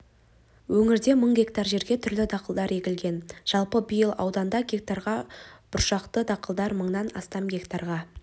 өңірде мың гектар жерге түрлі дақылдар егілген жалпы биыл ауданда гектарға бұршақты дақылдар мыңнан астам гектарға